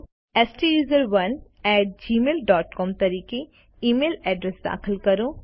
સ્ટુસરોને at Gmail dot c o m તરીકે email address દાખલ કરો